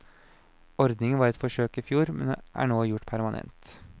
Ordningen var et forsøk i fjor, men er nå gjort permanent.